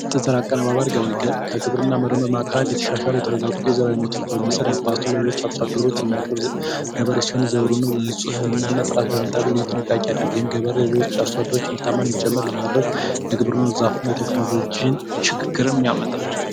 የዘር አቀነባባሪ ገበሬ ከግብርና የተወሰዱ የተሻሻሉ ዘሮችን የማቀነባበር እና ለሌሎች አርሶ አደሮች የሚያቀርብ ገበሬዎች እንዲሠሩና በጥራት እንዲሰሩ ልዩ ጥንቃቄ በማድረግ እና ገበሬዎች የሌሎች አሳደሮችን ምርታማነት እንዲጨምር በማድረግ የግብርና ዘርፍ ቴክኖሎጂ ሽግግርንም ያመጣል።